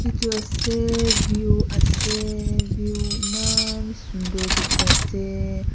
etu ase view ase view emmaan sundor diki assssseeee.